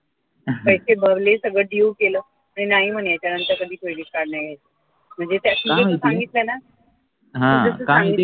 पैसे भरले सगळं dew केलं आणि नाही म्हणे यांच्यानंतर कधी credit card नाही घ्यायचं म्हणजे त्यात तिने सांगितलं न